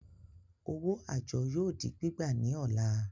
Owó àjọ yóò di gbígbà ní ọ̀la